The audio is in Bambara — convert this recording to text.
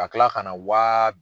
Ka kila ka na wa